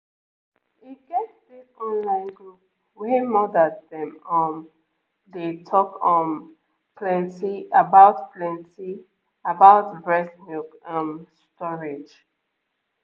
e get this online group wey mothers dem um dey talk um plenty about plenty about breast milk ehm storage